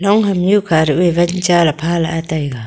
long hamnyu kha ruh e wan chaley phalah e taiga.